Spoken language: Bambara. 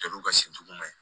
Kɛlen'u ka si duguma